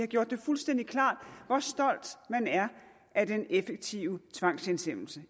gjort det fuldstændig klart hvor stolt man er af den effektive tvangshjemsendelse